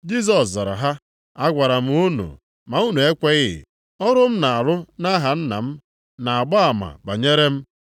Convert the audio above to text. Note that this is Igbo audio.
Jisọs zara ha, “Agwara m unu, ma unu ekweghị. Ọrụ m na-arụ nʼaha Nna m na-agba ama banyere m.